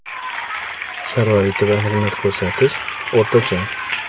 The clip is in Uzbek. Sharoiti va xizmat ko‘rsatish – o‘rtacha.